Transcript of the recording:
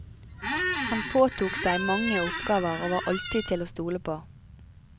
Han påtok seg mange oppgaver og var alltid til å stole på.